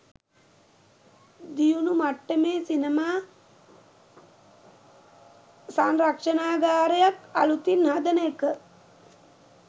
දියුණු මට්ටමේ සිනමා සංරක්ෂණාගාරයක් අලුතින් හදන එක